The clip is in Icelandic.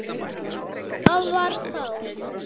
Það var þá.